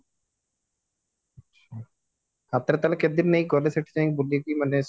ହାତରେ ତାହାହେଲେ କେତେ ଦିନ ନେଇକି ଗଲେ ସେଠି ଯାଇଙ୍କି ବୁଲିକି ମାନେ